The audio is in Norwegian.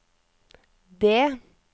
D